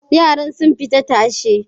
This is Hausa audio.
Yaran sun fita tashe.